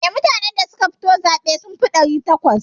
Eh, mutanen da suka fito zaɓe sun fi ɗari takwas.